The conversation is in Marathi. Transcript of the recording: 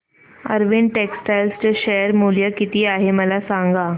अरविंद टेक्स्टाइल चे शेअर मूल्य किती आहे मला सांगा